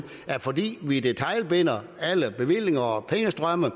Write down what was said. at fordi vi detailstyrer alle bevillinger og pengestrømme